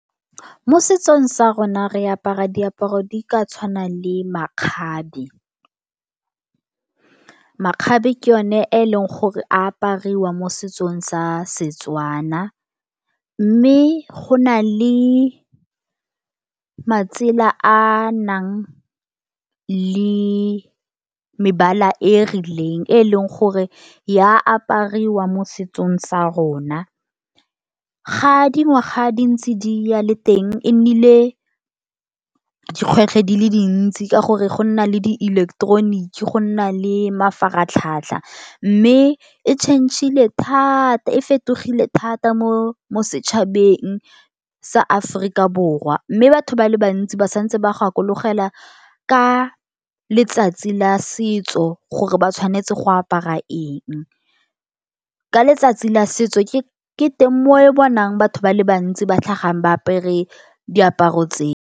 Mo setsong sa rona re apara diaparo di ka tshwana le makgabe. Makgabe ke yone a e leng gore, apariwa mo setsong sa Setswana mme, go na le matsela a a nang le mebala e rileng, e e leng gore ya apariwa mo setsong sa rona. Ga di ngwaga dintsi di ya, le teng, e nnile dikgwetlho di le dintsi, ka gore go nna le dieleketeroniki, go nna le mafaratlhatlha mme e change-ile thata, e fetogile thata mo setšhabeng sa Aforika Borwa, mme batho ba le bantsi ba santse ba gakologelwa ka letsatsi la setso, gore ba tshwanetse go apara eng. Ka letsatsi la setso, ke teng mo o bonang batho ba le bantsi ba tlhagang ba apere diaparo tseo.